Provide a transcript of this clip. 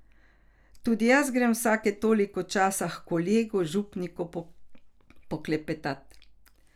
Tudi jaz grem vsake toliko časa h kolegu župniku poklepetat.